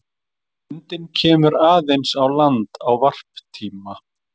Lundinn kemur aðeins á land á varptíma.